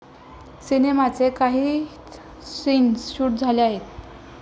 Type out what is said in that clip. सिनेमाचे काहीच scenes shoot झाले आहेत.